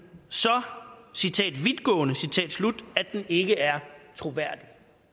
så citat vidtgående at den ikke er troværdig